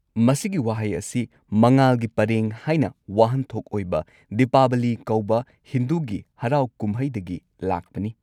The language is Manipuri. ꯃꯁꯤꯒꯤ ꯋꯥꯍꯩ ꯑꯁꯤ ꯃꯉꯥꯜꯒꯤ ꯄꯔꯦꯡ ꯍꯥꯏꯅ ꯋꯥꯍꯟꯊꯣꯛ ꯑꯣꯏꯕ ꯗꯤꯄꯥꯕꯂꯤ ꯀꯧꯕ ꯍꯤꯟꯗꯨꯒꯤ ꯍꯔꯥꯎ ꯀꯨꯝꯍꯩꯗꯒꯤ ꯂꯥꯛꯄꯅꯤ꯫